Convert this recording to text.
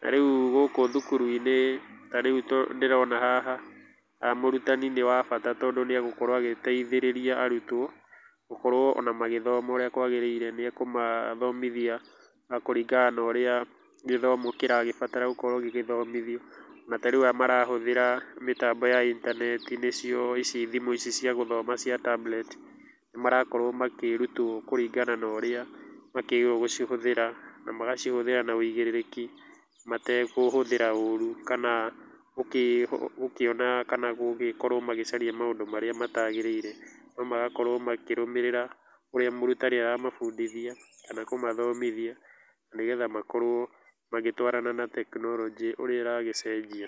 Na rĩu gũkũ thukuru-inĩ ta rĩu ũrĩa ndĩrona haha mũrutani nĩ wa bata tondũ nĩ agũkorwo agĩteithĩrĩria arutwo gũkorwo magĩthoma ũrĩa magĩrĩire, nĩ akũmathomithia kũringana na ũrĩa gĩthomo kĩragĩbatara gĩgĩthomithio, na tarĩu aya marahũthĩra mĩtambo ya intaneti nĩcio thimũ ici cia gũthoma cia tablet marakorwo makĩrutwo kũringana na ũrĩa makĩagĩrĩirwo gũcihũthĩra, magacihũthĩra na wũigĩrĩrĩki matekũhuthĩra ũru kana gũkĩona kana gũgĩkorwo magĩcaria maũndũ marĩa matagĩgĩire, no magakorwo makĩrũmĩrĩra ũrĩa mũrutani aramabundithia kana kũmathomithia nĩgetha makorwo magĩtwarana na tekinoronjĩ ũrĩa ĩra gĩcenjie.